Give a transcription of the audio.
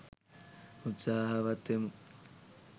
උත්සාහවත් වෙමු.